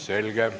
Selge.